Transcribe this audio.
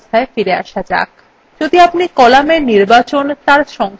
এখন আবার পূর্বাবস্থায় ফিরে আসা যাক